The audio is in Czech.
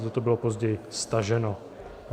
Toto bylo později staženo.